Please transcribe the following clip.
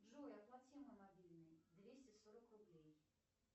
джой оплати мой мобильный двести сорок рублей